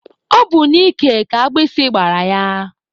Ọ bụ n'ike ka agbisi gbara ya.